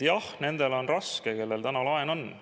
Jah, nendel on raske, kellel täna laen on.